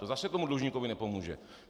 To zase tomu dlužníkovi nepomůže.